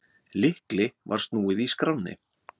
Lykli var snúið í skránni.